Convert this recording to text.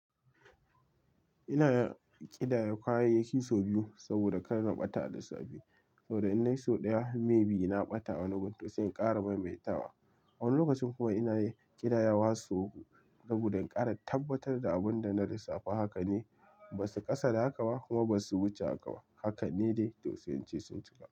Ina ƙidayar kayayyaki sau biyu saboda kar na ɓata a lissafi. Saboda in dai sau ɗaya maybe na ɓata a wani gun sai in ƙara maimaita wa. Wani lokacin kuma ina yi ƙidayar wa sau uku saboda in ƙara tabbatar da abin da na lissafa. Haka ne, ba su ƙasa da haka ba kuma ba su wuce haka ba. Haka ne dai to sai in ce sun cika.